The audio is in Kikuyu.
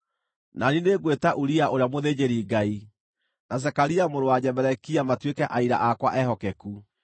Na niĩ nĩngwĩta Uria ũrĩa mũthĩnjĩri-Ngai, na Zekaria mũrũ wa Jeberekia matuĩke aira akwa ehokeku.”